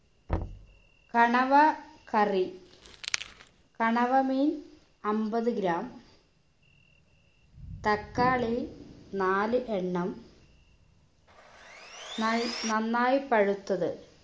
കണവ curry കണവ മീൻ അമ്പത് gram തക്കാളി നാല് എണ്ണം നൽ നന്നായി പഴുത്തത്